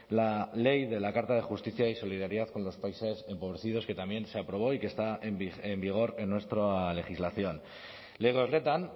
la ley de la carta de justicia y solidaridad con los países empobrecidos que también se aprobó y que está en vigor en nuestra legislación lege horretan